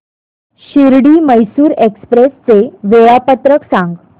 Shirdi Mysore express चे वेळापत्रक सांग